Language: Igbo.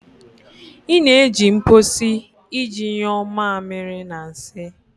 Ị na-eji mposi iji nyuo mamiri na nsị